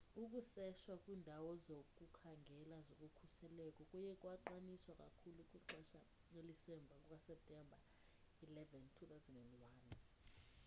ukuseshwa kwiindawo zokukhangela zokhuseleko kuye kwaqiniswa kakhulu kwixesha elisemva kukaseptemba 11 2001